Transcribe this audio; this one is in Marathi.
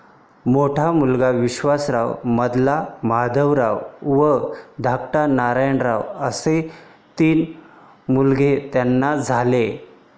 मोठा मुलगा विश्वासराव, मधला माधवराव व धाकटा नारायणराव असे तीन मुलगे त्यांना झाले.